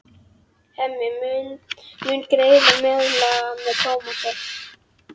Hemmi mun greiða meðlag með Tómasi.